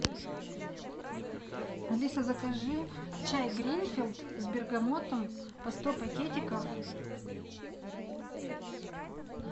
алиса закажи чай гринфилд с бергамотом по сто пакетиков